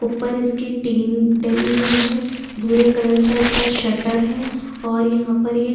ऊपर इसकी टीन डली हुई है भूरे कलर का इसका शटर है और यहां पर ये --